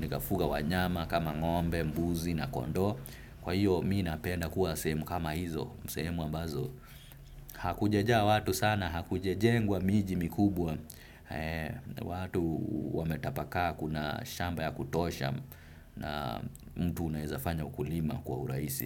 nikafuga wanyama kama ngombe, mbuzi na kondo. Kwa hiyo mimi napenda kuwa sehemu kama hizo, sehemu ambazo. Hakujajaa watu sana, hakujajengwa miji mikubwa. Watu wametapaka kuna shamba ya kutosha na mtu unaezafanya ukulima kwa uraisi.